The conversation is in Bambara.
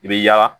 I bi yaala